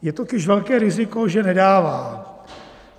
Je totiž velké riziko, že nedává.